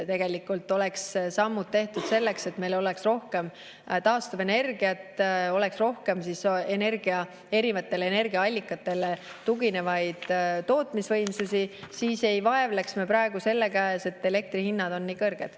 Kui meil oleks tehtud sammud selleks, et meil oleks rohkem taastuvenergiat, oleks rohkem erinevatele energiaallikatele tuginevaid tootmisvõimsusi, siis ei vaevleks me praegu selle käes, et elektrihinnad on nii kõrged.